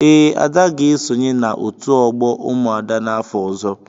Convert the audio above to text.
Ee, Ada ga-esonye na otu ogbo umuada n'afọ ọzọ.